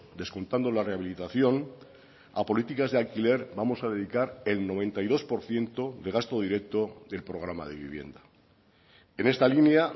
descontando la rehabilitación a políticas de alquiler vamos a dedicar el noventa y dos por ciento de gasto directo del programa de vivienda en esta línea